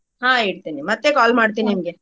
ಹ್ಮ ಇಡ್ತೀನಿ ಮತ್ತೆ call ಮಾಡ್ತೇನ್ ನಿಂಗೆ.